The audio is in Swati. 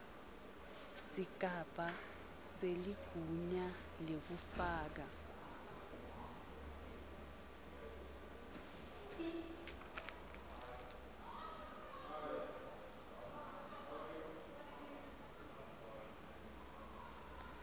sigaba seligunya lekufaka